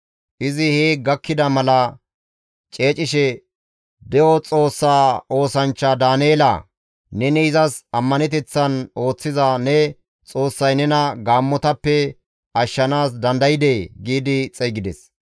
Izi hee gakkida mala ceecishe, «De7o Xoossaa oosanchcha Daaneela! Neni izas ammaneteththan ooththiza ne Xoossay nena gaammotappe ashshanaas dandaydee?» giidi xeygides.